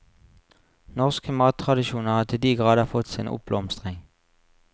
Norske mattradisjoner har til de grader fått sin oppblomstring.